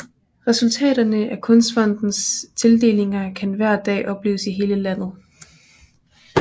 Resultaterne af Kunstfondens tildelinger kan hver dag opleves i hele landet